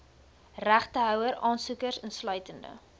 regtehouer aansoekers insluitende